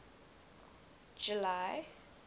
july